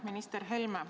Minister Helme!